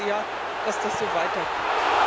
Ich hoffe sehr, dass das so weitergeht.